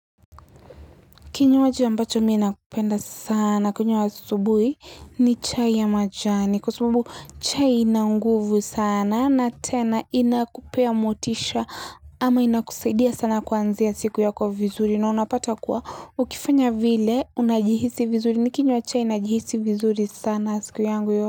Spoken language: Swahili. Kinywaji ambacho miina kupenda sana. Kunywa wa subuhi ni chai ya majani. Kwa subuhu chai inanguvu sana na tena inakupea motisha ama inakusaidia sana kwanzia siku ya kwa vizuri. Na unapata kwa ukifanya vile unajihisi vizuri ni kinywa chai inajihisi vizuri sana siku ya angu yo.